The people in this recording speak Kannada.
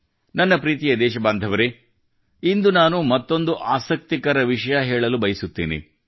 ನನ್ನ ಪ್ರೀತಿಯ ದೇಶಬಾಂಧವರೆ ಇಂದು ನಾನು ಮತ್ತೊಂದು ಆಸಕ್ತಿಕರ ವಿಷಯ ಹೇಳಲು ಬಯಸುತ್ತೇನೆ